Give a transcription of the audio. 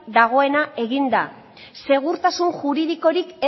dagoena eginda segurtasun juridikorik